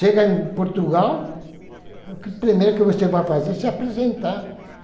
Chega em Portugal, o primeiro que você vai fazer é se apresentar.